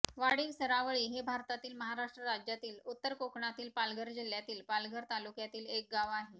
वाढीव सरावळी हे भारतातील महाराष्ट्र राज्यातील उत्तर कोकणातील पालघर जिल्ह्यातील पालघर तालुक्यातील एक गाव आहे